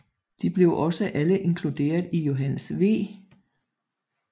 De blev også alle inkluderet i Johannes V